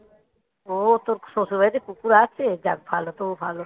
ও তোর শ্বশুরবাড়িতে কুকুর আছে? যাক ভালো তবু ভালো